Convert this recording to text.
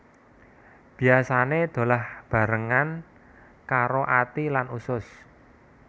Biasané dolah bebarengan karo ati lan usus